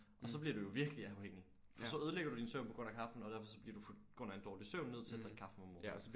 Og så bliver du jo virkelig afhængig for så ødelægger du din søvn på grund af kaffen og derfor så bliver du på grund af en dårlig søvn nødt til at drikke kaffe om morgenen